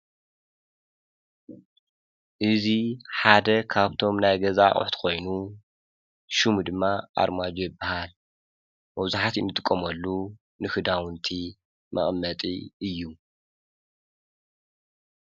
እዚ ሓደ ካብቶም ናይ ገዛ ኣቁሑት ሓደ ኮይኑ ሽሙ ድማ ኣርማድዮ ይበሃል። መብዛሕቲኡ እንጥቀመሉ ንክዳውንቲ መቐመጢ እዩ ።